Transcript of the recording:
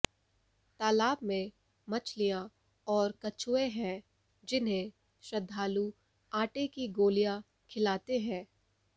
तालाब में मछलियां और कछुए हैं जिन्हें श्रद्धालु आटे की गोलियां खिलाते हैं